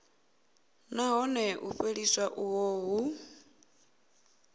nahone u fheliswa uho hu